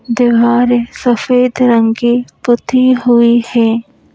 दिवारे सफेद रंग की पुती हुई है।